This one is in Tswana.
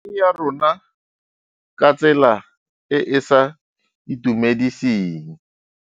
Eng ya rona ka tsela e e sa itumediseng.